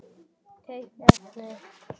Tengt efni